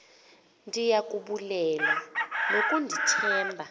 ndiya kubulela ngokundithemba